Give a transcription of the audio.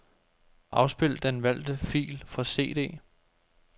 Afspil den valgte fil fra cd.